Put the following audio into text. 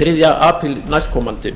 þriðja apríl næstkomandi